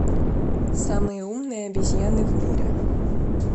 самые умные обезьяны в мире